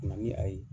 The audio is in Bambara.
Na ni a ye